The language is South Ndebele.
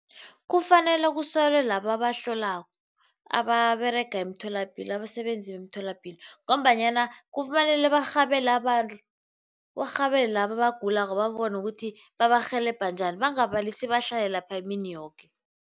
Kufanele kusekelwe laba abahlolako, ababerega emtholapilo, abasebenzi bemtholapilo ngombanyana kufanele barhabele abantu, barhabele laba abagulako babone ukuthi babarhelebhe njani bangabalisi bahlale lapha imini yoke.